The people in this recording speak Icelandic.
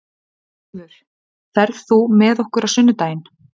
Brynjólfur, ferð þú með okkur á sunnudaginn?